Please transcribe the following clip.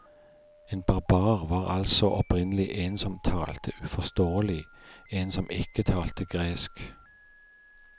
En barbar var altså opprinnelig en som talte uforståelig, en som ikke talte gresk.